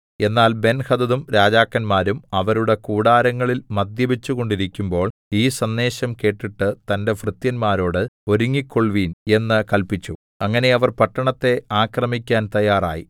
എന്നാൽ ബെൻഹദദും രാജാക്കന്മാരും അവരുടെ കൂടാരങ്ങളിൽ മദ്യപിച്ചുകൊണ്ടിരിക്കുമ്പോൾ ഈ സന്ദേശം കേട്ടിട്ട് തന്റെ ഭൃത്യന്മാരോട് ഒരുങ്ങിക്കൊൾവിൻ എന്ന് കല്പിച്ചു അങ്ങനെ അവർ പട്ടണത്തെ ആക്രമിക്കാൻ തയ്യാറായി